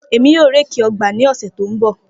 Emi yoo réèkì ọgba ni ọsẹ to nbọ.